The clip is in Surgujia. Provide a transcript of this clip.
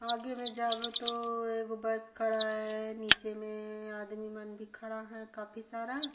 आगे में जाबे तो एगो बस खड़ा हे निचे में अ आदमी मन भी खड़ा है काफी सारा--